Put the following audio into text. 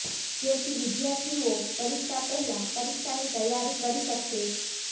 જેથી વિદ્યાર્થીઓ પરીક્ષા પહેલા પરીક્ષાની તૈયારી કરી શકશે